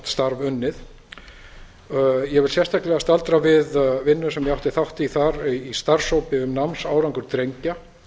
starf unnið ég vil sérstaklega staldra við vinnu sem ég átti þátt í þar í starfshópi um námsárangur drengja